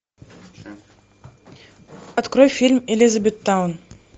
открой фильм элизабеттаун